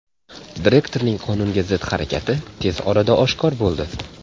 Direktorning qonunga zid harakati tez orada oshkor bo‘ldi.